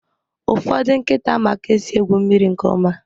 Ụfọdụ nkịta ma ka esi egwu mmiri nke ọma